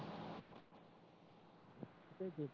तू कुठे आहे